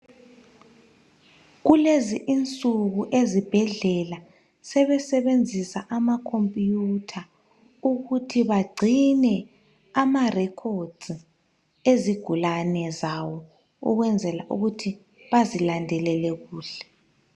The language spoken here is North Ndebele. kulezi insuku ezibhedlela sebesenbenzisa ama computer ukuthi bagcine ama record ezigulane zawo ukwenzela ukuthi bazilandelele kuhle